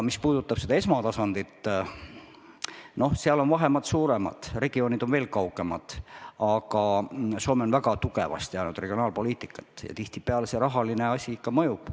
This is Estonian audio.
Mis puudutab esmatasandit, siis seal on vahemaad suuremad ja regioonid veel kaugemad, aga Soome on väga tugevasti ajanud regionaalpoliitikat ja tihtipeale see rahaline asi ikka mõjub.